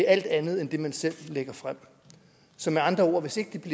alt andet end det man selv lægger frem så med andre ord hvis ikke det